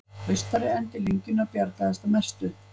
Austari endi lengjunnar bjargaðist að mestu